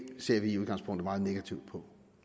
ser vi i udgangspunktet meget negativt på